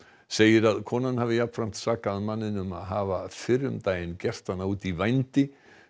segir að konan hafi jafnframt sakað manninn um að hafa fyrr um daginn gert hana út í vændi